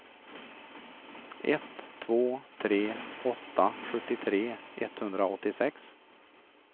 ett två tre åtta sjuttiotre etthundraåttiosex